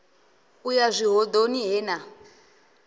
u ya zwihoḓoni he na